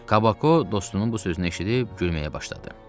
Kabako dostunun bu sözünü eşidib gülməyə başladı.